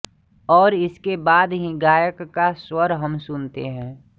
और इसके बाद ही गायक का स्वर हम सुनते हैं